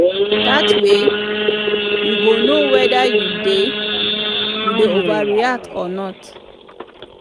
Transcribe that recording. dat way yu go no weda yu dey yu dey overreact or not